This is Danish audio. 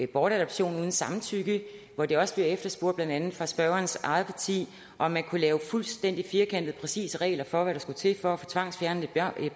bortadoption uden samtykke hvor der også blev efterspurgt blandt andet fra spørgerens eget parti om man kunne lave fuldstændig firkantede og præcise regler for hvad der skulle være til for at få tvangsfjernet et